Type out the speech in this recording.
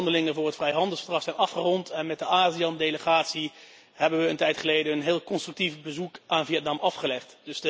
De onderhandelingen voor het vrijhandelsverdrag zijn afgerond en met de ASEAN delegatie hebben we een tijd geleden een heel constructief bezoek aan Vietnam afgelegd.